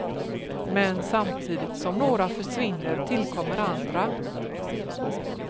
Men samtidigt som några försvinner tillkommer andra.